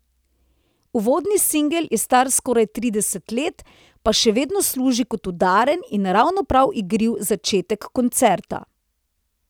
Uvodni singel je star skoraj trideset let, pa še vedno služi kot udaren in ravno prav igriv začetek koncerta.